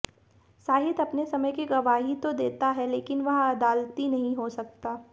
साहित्य अपने समय की गवाही तो देता है लेकिन वह अदालती नहीं हो सकती